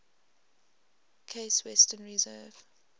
case western reserve